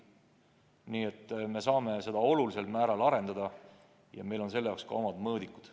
Nii et me saame tööd olulisel määral arendada ja meil on selle jaoks ka omad mõõdikud.